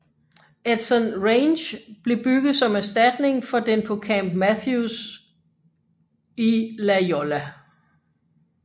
Edson Range blev bygget som erstatning for den på Camp Matthews i La Jolla